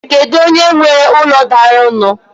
Kedu onye nwe úlọ daru nu?